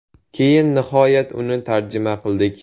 Keyin nihoyat uni tarjima qildik.